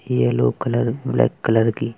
yellow colour black colour की --